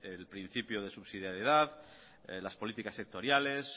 el principio de subsidiariedad las políticas sectoriales